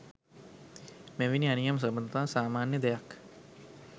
මෙවැනි අනියම් සබඳතා සාමාන්‍ය දෙයක්